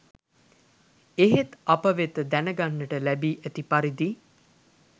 එහෙත් අප වෙත දැන ගන්නට ලැබී ඇති පරිදි